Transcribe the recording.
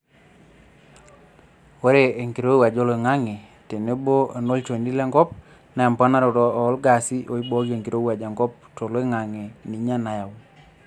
Ore enkirowuaj oloingange tebo onolchoni lenkop naa emponaroto olgaasi oibooki enkirowuaj enkop toloingange ninye nayau.